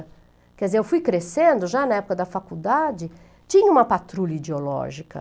Quer dizer, eu fui crescendo, já na época da faculdade, tinha uma patrulha ideológica.